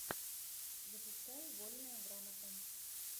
запускай вольная грамота